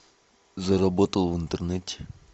заработал в интернете